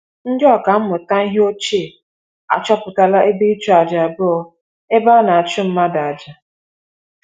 Ndị ọkà mmụta ihe ochie achọpụtala ebe ịchụaja abụọ ebe a na-achụ mmadụ aja.